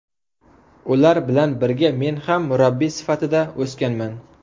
Ular bilan birga men ham murabbiy sifatida o‘sganman”.